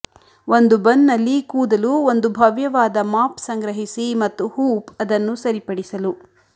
ಒಂದು ಬನ್ ನಲ್ಲಿ ಕೂದಲು ಒಂದು ಭವ್ಯವಾದ ಮಾಪ್ ಸಂಗ್ರಹಿಸಿ ಮತ್ತು ಹೂಪ್ ಅದನ್ನು ಸರಿಪಡಿಸಲು